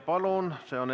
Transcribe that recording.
Palun!